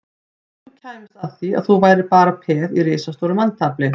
Ef þú kæmist að því að þú værir bara peð í risastóru manntafli